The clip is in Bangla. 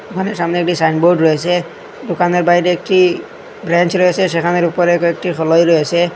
দোকানের সামনে একটি সাইনবোর্ড রয়েছে দোকানের বাইরে একটি ব্রেঞ্চ রয়েছে সেখানের ওপরে কয়েকটি ফলই রয়েছে।